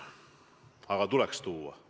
Aga tuleks tuua!